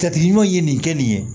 Jate ɲuman ye nin kɛ nin ye